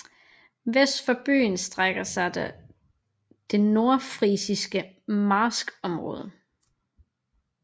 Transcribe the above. Vest for byen strækker sig det nordfrisiske marskområde